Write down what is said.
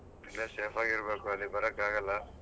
ಇಲ್ಲೇ safe ಆಗಿ ಇರ್ಬೇಕು ಅಲ್ಲಿಗ್ ಬರಾಕ್ ಆಗಲ್ಲ.